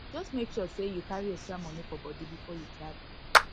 just make sure say you carry extra money for body before you travel